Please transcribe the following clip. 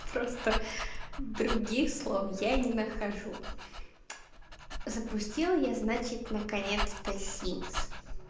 просто других слов я не нахожу запустил я значит наконец-то симос